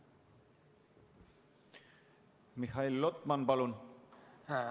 Mihhail Lotman, palun!